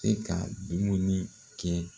E ka dumuni kɛ